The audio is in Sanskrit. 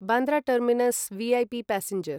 Bandra terminus VIP passenger